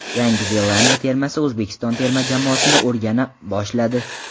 Yangi Zelandiya termasi O‘zbekiston terma jamoasini o‘rgana boshladi.